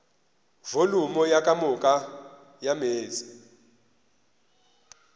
volumo ka moka ya meetse